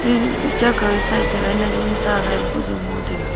cha khaw side toh gana wunsa e boh jaw ngan taiga.